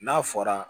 N'a fɔra